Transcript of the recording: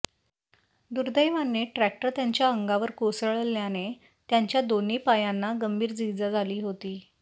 दुर्दैवाने ट्रॅक्टर त्यांच्या अंगावर कोसळल्याने त्यांच्या दोन्ही पायांना गंभीर इजा झाली होती